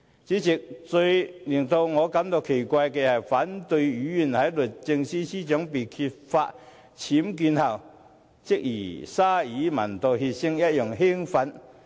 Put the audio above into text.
主席，最令我感到奇怪的是，反對派議員在律政司司長被揭發僭建後，即如同鯊魚聞到血腥一樣興奮。